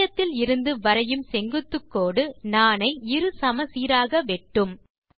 மையத்தில் இருந்து வரையும் செங்குத்துக்கோடு நாணை இரு சமசீராக வெட்டும்